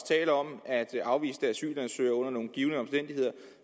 tale om at afviste asylansøgere under nogle givne omstændigheder